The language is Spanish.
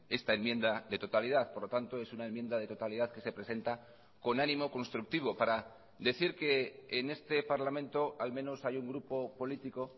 esta enmienda de totalidad por lo tanto es una enmienda de totalidad que se presenta con ánimo constructivo para decir que en este parlamento al menos hay un grupo político